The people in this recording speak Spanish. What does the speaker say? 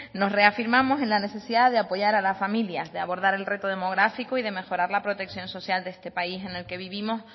nos reafirmamos en la necesidad de apoyar a las familias de abordar el reto demográfico y de mejorar la protección social de este país en el que vivimos